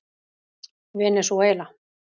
Venesúela